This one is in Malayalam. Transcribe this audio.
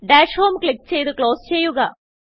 ഡാഷ് ഹോം ക്ലിക്ക് ചെയ്ത് ക്ലോസ് ചെയ്യുക